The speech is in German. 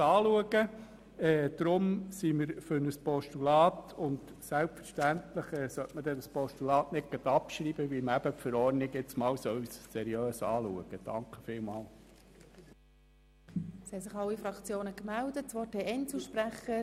Deshalb sind wir für ein Postulat und selbstverständlich sollte man das Postulat nicht auch noch gleich abschreiben, weil die Verordnung nun einmal seriös geprüft werden sollte.